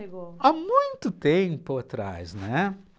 há muito tempo atrás, né?